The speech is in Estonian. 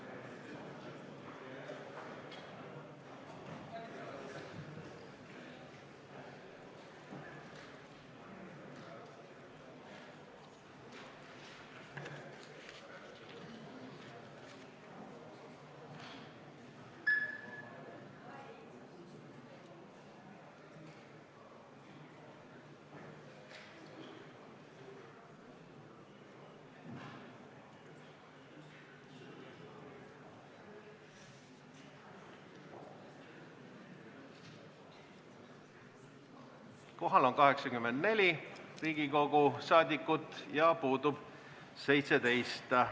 Kohaloleku kontroll Kohal on 84 Riigikogu liiget, puudub 17.